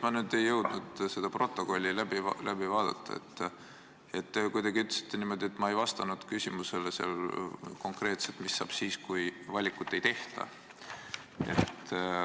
Ma küll ei jõudnud seda protokolli läbi vaadata, aga te ütlesite kuidagi niimoodi, et ma ei vastanud konkreetselt küsimusele, et mis saab siis, kui valikut ei tehta.